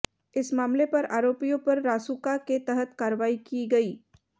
इस मामले पर आरोपियों पर रासुका के तहत कार्रवाई की गई